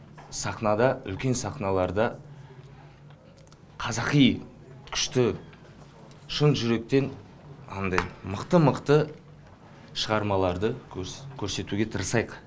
сахнада үлкен сахналарда қазақи күшті шын жүректен анандай мықты мықты шығармаларды көрсетуге тырысайық